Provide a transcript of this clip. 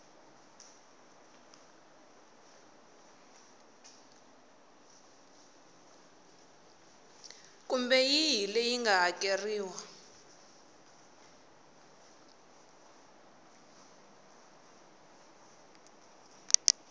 kumbe yihi leyi nga hakeriwa